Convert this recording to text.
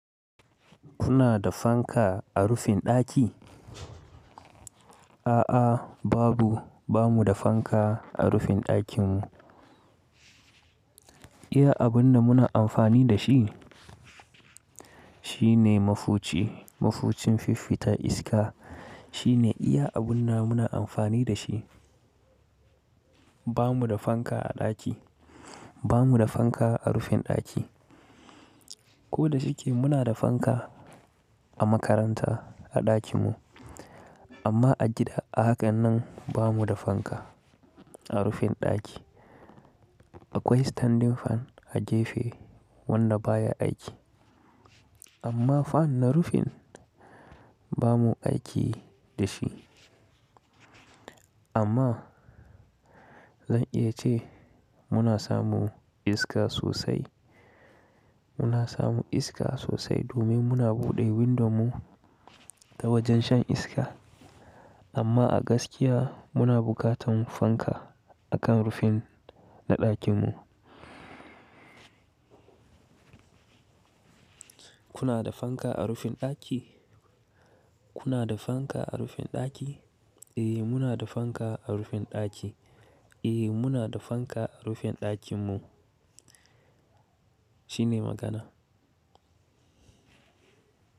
Kuna da fanka a rufin ɗaki? A'a babu, ba mu da fanka a rufin ɗakin mu. Iya abun da muna amfani da shi, shine mafuci, mafucin fiffita iska shine iya abun da muna amfani da shi. Ba mu da fanka a ɗaki, ba mu da fanka a rufin ɗaki. Ko da shike muna da fanka a makaranta a ɗakin mu, amma a gida a hakan nan ba mu da fanka a rufin ɗaki. Akwai standing fan a jefe wanda baya aiki. Amma fan na rufin ba mu aiki da shi. Amma zan iya ce muna samu iska sosai, muna samu iska sosai domin muna buɗe window mu ta wajen shan iska. Amma a gaskiya muna bukatan fanka a kan rufin na ɗakin mu. Kuna da fanka a rufin ɗaki? Kuna da fanka a rufin ɗaki? Eh muna da fanka a rufin ɗaki. Eh muna da fanka a rufin ɗakin mu. Shine magana.